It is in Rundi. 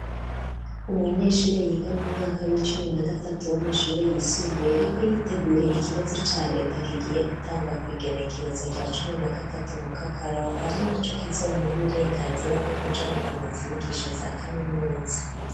umunyeshuri yiga mu mwaka w'icumi na gatatu w'amashuri yisumbuye ariko yitegurira ikibazo ca Leta kigiye gutangwa ku igenekerezo rya cumi na gatatu mu kakaro ari naco kizomuha uburenganzira bwo kuja gukomeza inyigisho za kaminuza.